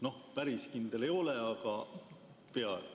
No päris kindel ei ole, aga peaaegu.